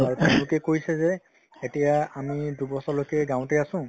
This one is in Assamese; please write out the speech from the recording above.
আৰু তেওঁলোকে কৈছে যে এতিয়া আমি দুবছৰলৈকে গাঁৱতে আছো